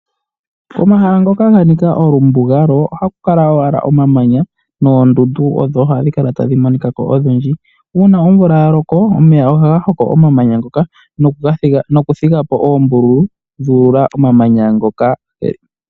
Omahala ngoka ganika olumbugalo, ohaku kala owala omamanya, noondundu odho hadhi kala tadhi monika ko odhindji. Uuna omvula yaloko, omeya ohaga hoko omamanya ngoka, noku thigapo oombululu, dhu ululwa momamanya moka.